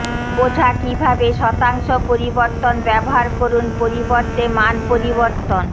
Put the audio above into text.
বোঝা কিভাবে শতাংশ পরিবর্তন ব্যবহার করুন পরিবর্তে মান পরিবর্তন